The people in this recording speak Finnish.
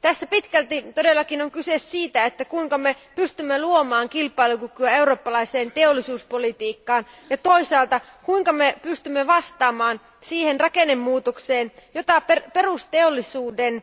Tässä pitkälti todellakin on kyse siitä, kuinka me pystymme luomaan kilpailukykyä eurooppalaiseen teollisuuspolitiikkaan ja toisaalta siitä, kuinka me pystymme vastamaan siihen rakennemuutokseen, jota perusteollisuuden